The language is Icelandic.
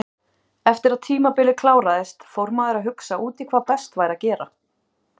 Eftir að tímabilið kláraðist fór maður að hugsa út í hvað best væri að gera.